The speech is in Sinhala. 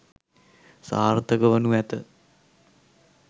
සාර්ථකවනු ඇත.